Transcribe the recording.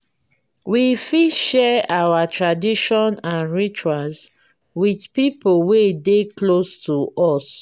we fit share our tradition and rituals with pipo wey dey close to us